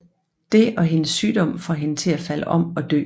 Det og hendes sygdom får hende til at falde om og dø